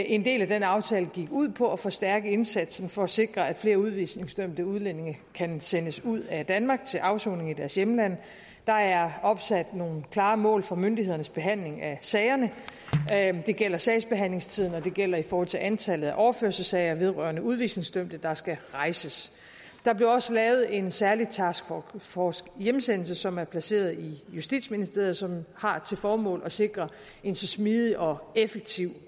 en del af den aftale gik ud på at forstærke indsatsen for at sikre at flere udvisningsdømte udlændinge kan sendes ud af danmark til afsoning i deres hjemland der er opsat nogle klare mål for myndighedernes behandling af sagerne det gælder sagsbehandlingstiden og det gælder i forhold til antallet af overførselssager vedrørende udvisningsdømte der skal rejses der blev også lavet en særlig task force hjemsendelse som er placeret i justitsministeriet og som har til formål at sikre en så smidig og effektiv